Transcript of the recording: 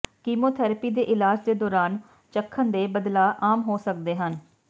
chemotherapy ਦੇ ਇਲਾਜ ਦੇ ਦੌਰਾਨ ਚੱਖਣ ਦੇ ਬਦਲਾਅ ਆਮ ਹੋ ਸਕਦੇ ਹਨ